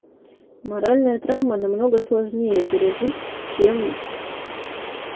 моральную травму намного сложнее пережить чем